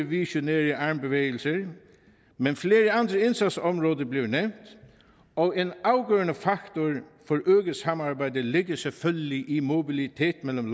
visionære armbevægelser men flere andre indsatsområder bliver nævnt og en afgørende faktor for øget samarbejde ligger selvfølgelig i mobilitet mellem